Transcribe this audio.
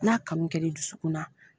N'a kanu kɛli dusukun na.